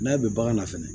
N'a bɛ bagan na fɛnɛ